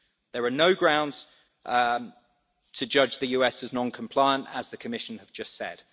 There are no grounds to judge the US as non-compliant, as the Commission has just said.